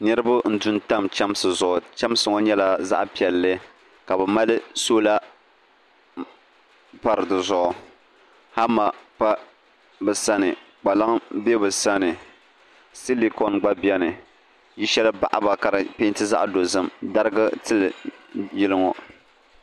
Niriba n du n tam chemsi zuɣu chemsi ŋɔ nyɛla zaɣa piɛlli ka bɛ mali sola pari dizuɣu hama pa bɛ sani kpalaŋ be bɛ sani silikoni gba biɛni yili sheli baɣaba ka di penti zaɣa dozim dariga tili yili ŋɔ.